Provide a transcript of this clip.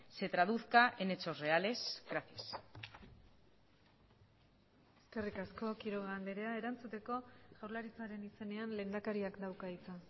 se traduzca en hechos reales gracias eskerrik asko quiroga andrea erantzuteko jaurlaritzaren izenean lehendakariak dauka hitza